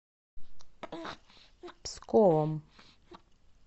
псковом